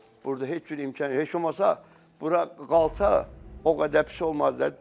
Burda heç cür imkan, heç olmasa bura qalsa o qədər pis olmazdı.